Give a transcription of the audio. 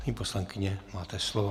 Paní poslankyně, máte slovo.